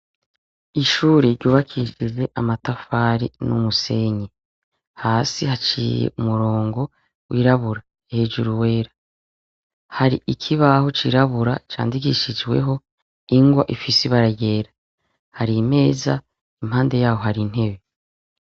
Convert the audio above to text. Ishure ryubakishize amatafari n'umusenye hasi haciye umurongo wirabura hejuru wera hari ikibaho cirabura candigishijweho ingwa ifise ibara yera hari imeza impande yaho hari intebe.